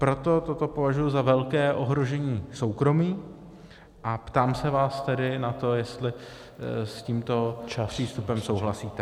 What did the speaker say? Proto toto považuji za velké ohrožení soukromí a ptám se vás tedy na to, jestli s tímto přístupem souhlasíte.